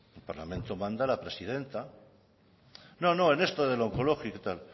en el parlamento manda la presidenta no no en esto de lo onkologiko y tal